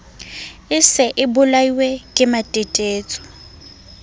e se e bolailwe kematetetso